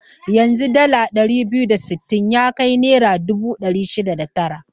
Yanzu dala ɗari biyar da sittin ya kai naira dubu ɗari shida da tara.